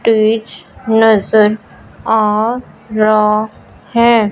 Stage नजर आ रहा है।